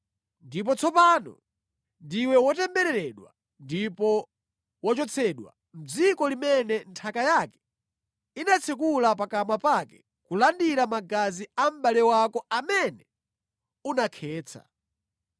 Ndipo tsopano ndiwe wotembereredwa ndipo wachotsedwa mʼdziko limene nthaka yake inatsekula pakamwa pake kulandira magazi a mʼbale wako amene unakhetsa.